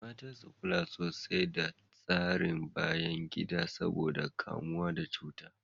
Mata su kula sosai da tsarin bayan gida saboda kamuwa da cuta.